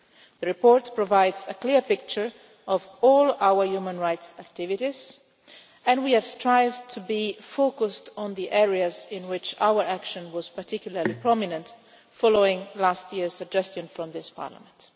The report provides a clear picture of all our human rights activities and we have strived to be focused on the areas in which our action was particularly prominent following last year's suggestion from this Parliament.